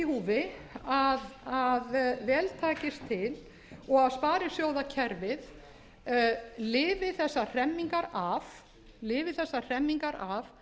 húfi að vel takist til og að sparisjóðakerfið lifi þessar hremmingar af þannig að